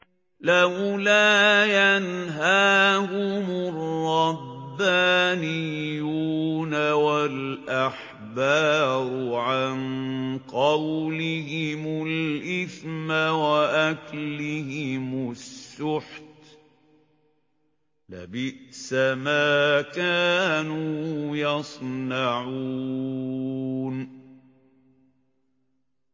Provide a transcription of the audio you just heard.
لَوْلَا يَنْهَاهُمُ الرَّبَّانِيُّونَ وَالْأَحْبَارُ عَن قَوْلِهِمُ الْإِثْمَ وَأَكْلِهِمُ السُّحْتَ ۚ لَبِئْسَ مَا كَانُوا يَصْنَعُونَ